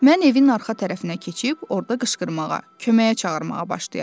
Mən evin arxa tərəfinə keçib, orda qışqırmağa, köməyə çağırmağa başlayaram.